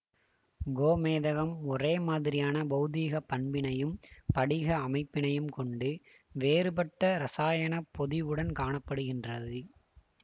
கோமேதகம் ஒரேமாதிரியான பெளதீகப் பண்பினையும் படிக அமைப்பினையும் கொண்டு வேறுபட்ட இரசாயன பொதிவுடன் காண படுகின்றது